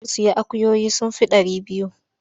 Za su sayi akuyoyi sun fi ɗari biyu.